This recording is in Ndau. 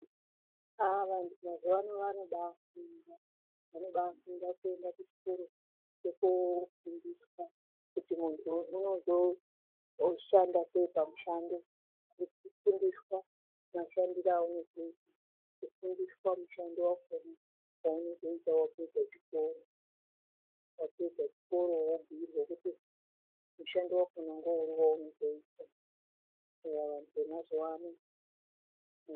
Aaa vantu mazuva ano vanobai funda vanobai funda vakuenda ku chikoro vondo fundiswa kuti muntu ozo shanda sei pa mushando neku fundiswa mashandiro awuno zoita ku fundiswa mushando wakona wauno zoita wapedza chikora wapedze chikoro wo bhuyirwe kuti mushando wakona neuri wauno zoita.